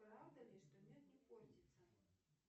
правда ли что мед не портится